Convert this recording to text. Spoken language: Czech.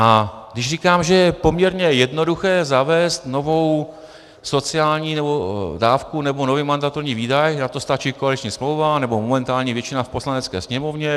A když říkám, že je poměrně jednoduché zavést novou sociální dávku nebo nový mandatorní výdaj, na to stačí koaliční smlouva nebo momentální většina v Poslanecké sněmovně.